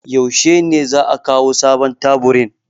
Yaushe ne za a kawo sabon taburin?